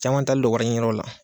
Caman taalen don wariɲiniyɔrɔw la